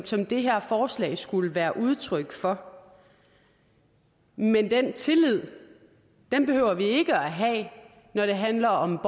som det her forslag skulle være udtryk for men den tillid behøver vi ikke at have når det handler om